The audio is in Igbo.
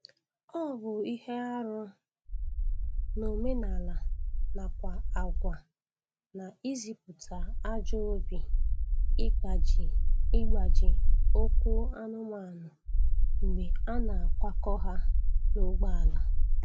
Ọ bụ ihe arụ n'omenaala nakwa agwa na-ezipụta ajọ obi igbaji igbaji ụkwụ anụmanụ mgbe a na-akwakọ ha n'ụgbọala